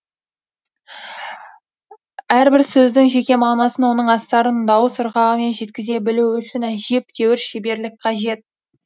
әрбір сөздің жеке мағынасын оның астарын дауыс ырғағымен жеткізе білу үшін әжептәуір шеберлік қажет